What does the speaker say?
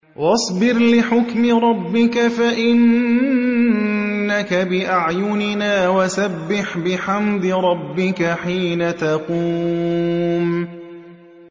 وَاصْبِرْ لِحُكْمِ رَبِّكَ فَإِنَّكَ بِأَعْيُنِنَا ۖ وَسَبِّحْ بِحَمْدِ رَبِّكَ حِينَ تَقُومُ